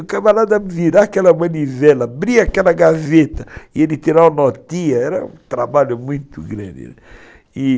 O camarada virava aquela manivela, abria aquela gaveta e ele tirava a notinha, era um trabalho muito grande.